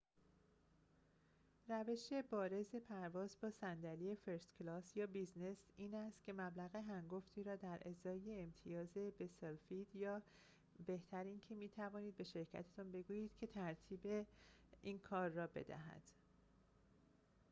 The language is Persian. روش بارز پرواز با صندلی فرست کلاس یا بیزینس این است که مبلغ هنگفتی را در ازای امتیاز بسلفید یا بهتر اینکه می‌توانید به شرکتتان بگویید که ترتیب این کار را بدهد